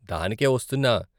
దానికే వస్తున్నా.